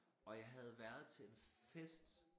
Og jeg havde været til en fest